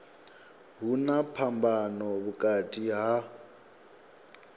hu na phambano vhukati ha